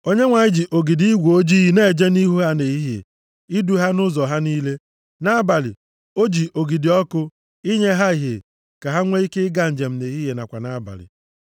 Onyenwe anyị ji ogidi igwe ojii na-eje nʼihu ha nʼehihie, idu ha nʼụzọ ha niile. Nʼabalị, o ji ogidi ọkụ, inye ha ìhè ka ha nwee ike ịga njem nʼehihie nakwa nʼabalị.